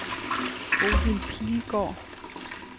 Bodil Pilgaard